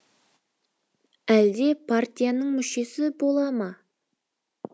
әлде партияның мүшесі бола ма